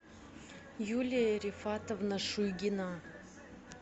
юлия рифатовна шуйгина